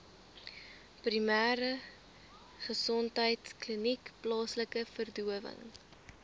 primêregesondheidkliniek plaaslike verdowing